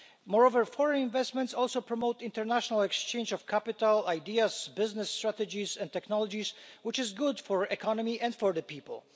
Moreover, foreign investment promotes the international exchange of capital, ideas, business strategies and technologies which is good for the economy and for people.